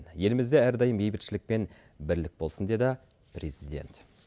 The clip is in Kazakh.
елімізде әрдайым бейбітшілік пен бірлік болсын деді президент